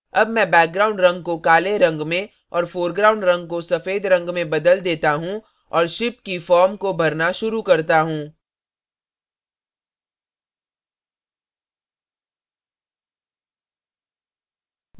अब मैं background रंग को काले रंग में और foreground रंग को सफ़ेद रंग में बदल देता हूँ और ship की form को भरना शुरू करता हूँ